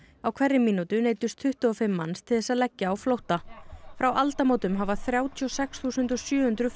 á hverri mínútu neyddust tuttugu og fimm manns til þess að leggja á flótta frá aldamótum hafa þrjátíu og sex þúsund sjö hundruð